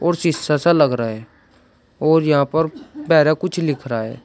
और शीशा सा लग रहा है और यहां पर बेरा कुछ लिख रहा है।